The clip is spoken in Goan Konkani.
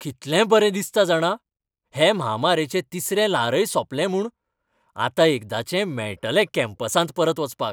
कितलें बरें दिसता जाणा, हे म्हामारेचें तिसरें ल्हारय सोंपलें म्हूण. आतां एकदांचें मेळटलें कॅम्पसांत परत वचपाक.